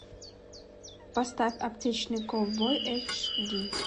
поставь аптечный ковбой эйч ди